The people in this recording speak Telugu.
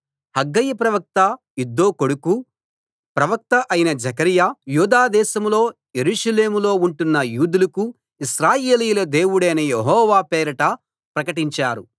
హగ్గయి ప్రవక్త ఇద్దో కొడుకూ ప్రవక్తా అయిన జెకర్యా యూదా దేశంలో యెరూషలేములో ఉంటున్న యూదులకు ఇశ్రాయేలీయుల దేవుడైన యెహోవా పేరట ప్రకటించారు